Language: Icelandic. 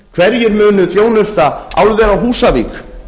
hverjir munu þjónusta álver á húsavík